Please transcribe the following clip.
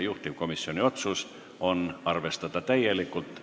Juhtivkomisjoni otsus on arvestada seda täielikult.